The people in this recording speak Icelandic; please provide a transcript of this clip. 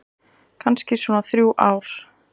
Kannski svona þrjú ár.